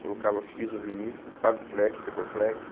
Colocava piso vinílico, paviflex, tecorflex.